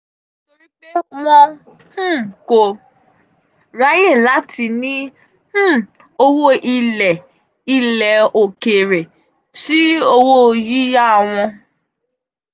nítorí pé wọn um kò um ráyè láti ní um owó ilẹ̀ ilẹ̀ òkèèrè sí owó yíyá wọn.